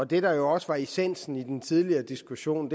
det der også var essensen i den tidligere diskussion